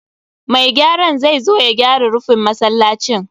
Mai gyaran zai zo ya gyara rufin masallacin.